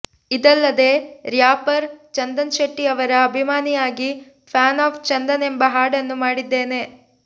ಇದಲ್ಲದೆ ರ್ಯಾಪರ್ ಚಂದನ್ಶೆಟ್ಟಿಯವರ ಅಭಿಮಾನಿಯಾಗಿ ಫ್ಯಾನ್ ಆಫ್ ಚಂದನ್ ಎಂಬ ಹಾಡನ್ನು ಮಾಡಿದ್ದೇನೆ